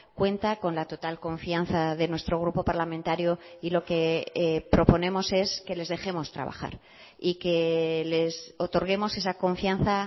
cuenta con la total confianza de nuestro grupo parlamentario y lo que proponemos es que les dejemos trabajar y que les otorguemos esa confianza